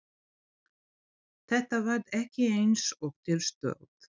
Þetta varð ekki eins og til stóð.